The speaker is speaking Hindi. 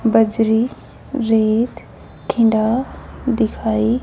बजरी रेत खिंडा दिखाई--